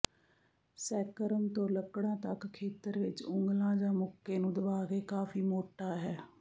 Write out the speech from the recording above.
sacrum ਤੋਂ ਲੱਕੜਾਂ ਤੱਕ ਖੇਤਰ ਵਿੱਚ ਉਂਗਲਾਂ ਜਾਂ ਮੁੱਕੇ ਨੂੰ ਦਬਾ ਕੇ ਕਾਫ਼ੀ ਮੋਟਾ ਹੈ